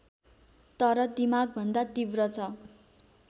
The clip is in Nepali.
तर दिमागभन्दा तीब्र छ